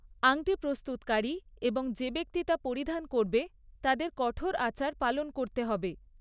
আংটি প্রস্তুতকারী এবং যে ব্যক্তি তা পরিধান করবে, তাদের কঠোর আচার পালন করতে হবে।